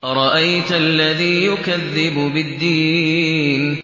أَرَأَيْتَ الَّذِي يُكَذِّبُ بِالدِّينِ